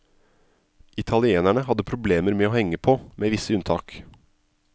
Italienerne hadde problemer med å henge på, med visse unntak.